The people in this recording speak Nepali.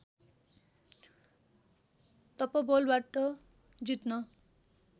तपोबलबाट जित्न